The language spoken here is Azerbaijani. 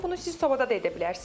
Bunu siz sobada da edə bilərsiniz.